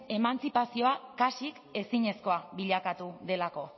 emantzipazioa kasik ezinezkoa bilakatu delako